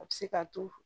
A bɛ se k'a to